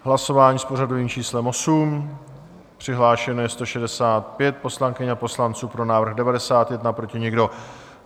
Hlasování s pořadovým číslem 8, přihlášeno je 165 poslankyň a poslanců, pro návrh 91, proti nikdo.